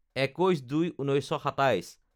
২১/০২/১৯২৭